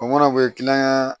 O mana o ye kiliyan